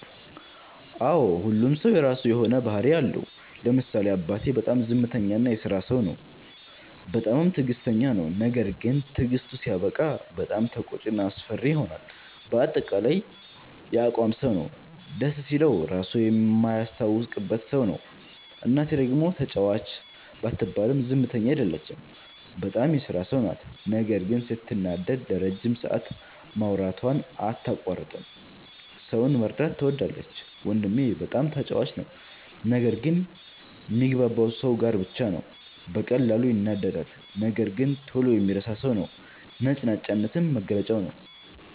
አዎ ሁሉም ሠው የራሱ የሆነ ባህርይ አለው። ለምሳሌ አባቴ፦ በጣም ዝምተኛ እና የስራ ሠው ነው። በጣምም ትግስተኛ ነው። ነገርግን ትግስቱ ሲያበቃ በጣም ተቆጭ እና አስፈሪ ይሆናል በአጠቃላይ የአቋም ሠው ነው። ደስ ሲለው ራሡ ማያስታውቅበት ሠው ነው። እናቴ፦ ደግሞ ተጫዋች ባትባልም ዝምተኛ አይደለችም። በጣም የስራ ሠው ናት ነገር ግን ስትናደድ ለረጅም ሠአት ማውራቷን አታቋርጥም። ሠውን መርዳት ትወዳለች። ወንድሜ፦ በጣም ተጫዋች ነው። ነገር ግን ሚግባባው ሠው ጋር ብቻ ነው። በቀላሉ ይናደዳል ነገር ግን ቶሎ የሚረሣ ሠው ነው። ነጭናጫነትም መገለጫው ነዉ።